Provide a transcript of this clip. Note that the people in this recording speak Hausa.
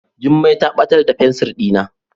Jummai ta batar da fensir dina.